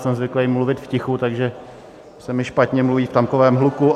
Jsem zvyklý mluvit v tichu, takže se mi špatně mluví v takovém hluku.